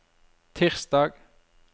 tirsdag